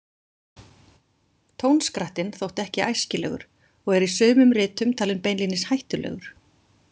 Tónskrattinn þótti ekki æskilegur og er í sumum ritum talinn beinlínis hættulegur.